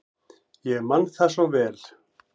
Ég man það svo vel.